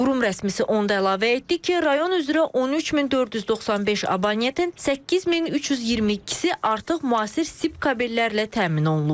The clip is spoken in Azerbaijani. Qurum rəsmisi onu da əlavə etdi ki, rayon üzrə 13495 abonenttin 8322-si artıq müasir sip kabellərlə təmin olunub.